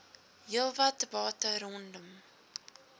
heelwat debatte rondom